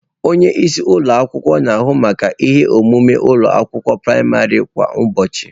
Onye isi ụlọ akwụkwọ na-ahụ maka ihe omume ụlọ akwụkwọ praịmarị kwa ụbọchị.